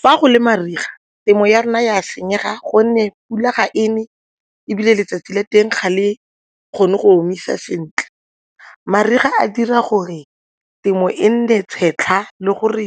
Fa go le mariga, temo ya rona e a senyega gonne pula ga e ne ebile letsatsi la teng ga le kgone go omisa sentle. Mariga a dira gore temo e nne tshwetlha le gore